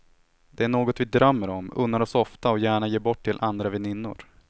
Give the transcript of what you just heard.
Det är något vi drömmer om, unnar oss ofta och gärna ger bort till andra väninnor.